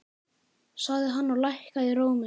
sagði hann og hækkaði róminn.